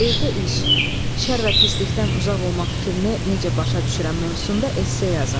Evdə iş, şərr və pislikdən uzaq olmaq fikrini necə başa düşürəm mövzusunda esse yazın.